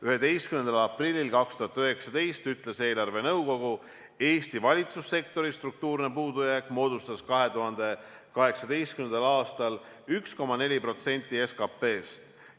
11. aprillil 2019 ütles eelarvenõukogu: "Rahandusministeeriumi hinnangul moodustas Eesti valitsussektori struktuurne puudujääk 2018. aastal 1,4% SKPst.